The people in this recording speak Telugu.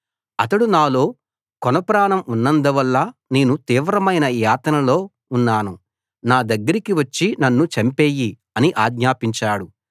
అతడు నాలో కొన ప్రాణం ఉన్నందువల్ల నేను తీవ్రమైన యాతనలో ఉన్నాను నా దగ్గరికి వచ్చి నన్ను చంపెయ్యి అని ఆజ్ఞాపించాడు